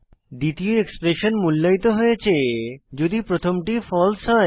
দ্বিতীয় এক্সপ্রেশন মূল্যায়িত হয়েছে যদি প্রথমটি ফালসে হয়